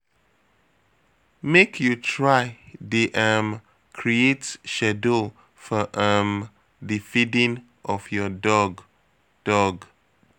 Make you try dey um create schedule for um di feeding of your dog. dog.